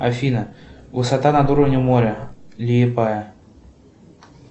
афина высота над уровнем моря лиепая